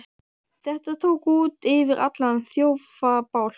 Þetta tók út yfir allan þjófabálk!